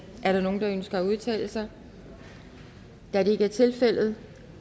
er der nogen der ønsker at udtale sig da det ikke er tilfældet